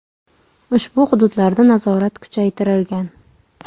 Ushbu hududlarda nazorat kuchaytirilgan.